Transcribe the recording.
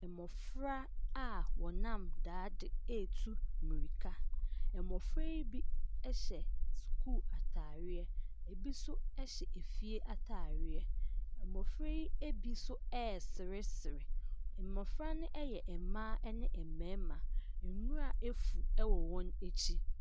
Mmɔfra a wɔnam daade retu mmirika. Mmɔfra yi bi hyɛ sukuu atareɛ. Ebi nso hyɛ efie atareɛ. Mmɔfra yi bi nso reseresere. Mmɔfra no yɛ mmaa ne mmarima. Nwura afu wɔ wɔn akyi.